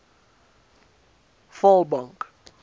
vaalbank